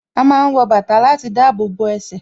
A máa ń wọ bàtà láti dábòbò ẹsẹ̀